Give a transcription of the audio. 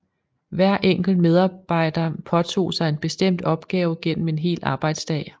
Hver enkelt medarbejder påtog sig en bestemt opgave gennem en hel arbejdsdag